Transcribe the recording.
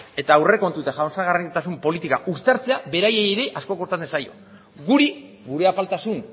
eta aurrekontu eta jasangarritasuna politika uztartzea beraiei ere asko kostatzen zaie guri gure apaltasun